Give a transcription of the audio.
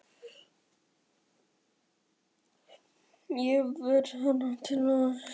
Jesús minn almáttugur, ég verð hér til vors. emjaði hún.